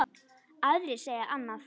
Aðrir segja annað.